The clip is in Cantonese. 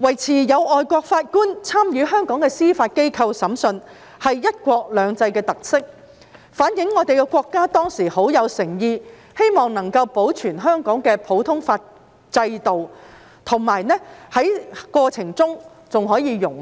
維持有外籍法官參與香港司法機構審訊是"一國兩制"的特色，反映國家當時有很大誠意希望保存香港的普通法制度，並在過程中容許一